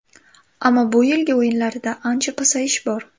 Ammo bu yilgi o‘yinlarida ancha pasayish bor.